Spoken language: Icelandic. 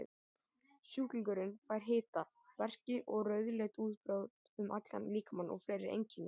Sjúklingurinn fær hita, verki og rauðleit útbrot um allan líkamann og fleiri einkenni.